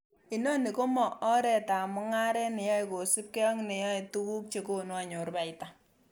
Inoni komo oretab mungaret neya kosiibge ak neoyoe tuguk chekonu anyor baita.